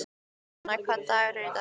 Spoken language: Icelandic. Donna, hvaða dagur er í dag?